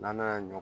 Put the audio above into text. N'ala y'a